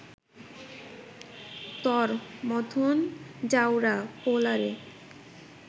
তর মথন জাউরা পোলারে